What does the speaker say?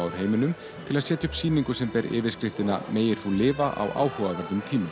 heiminum til að setja upp sýningu sem ber yfirskriftina megir þú lifa á áhugaverðum tímum